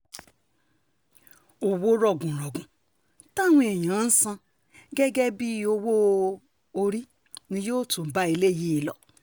owó rọ̀gùnrọ̀gùn táwọn èèyàn ń san gẹ́gẹ́ bíi owó-orí ni yóò tún bá eléyìí lọ